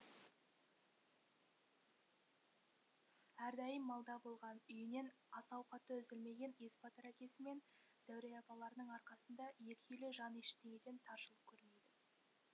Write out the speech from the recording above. әрдайым малда болған үйінен ас ауқаты үзілмеген есбатыр әкесі мен зәуре апаларының арқасында екі үйлі жан ештеңеден таршылық көрмейді